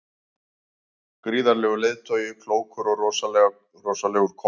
Gríðarlegur leiðtogi, klókur og rosalegur kóngur.